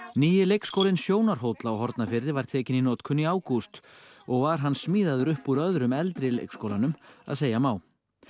nýi leikskólinn Sjónarhóll á Hornafirði var tekinn í notkun í ágúst og var hann smíðaður upp úr öðrum eldri leikskólanum að segja má